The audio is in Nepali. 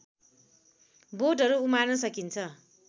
बोटहरू उमार्न सकिन्छ